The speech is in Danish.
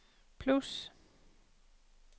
plus